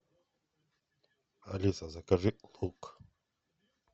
алиса закажи лук